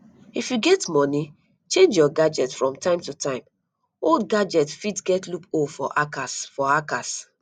if you get money change your gadget from time to time old gadget fit get loop hole for hackers for hackers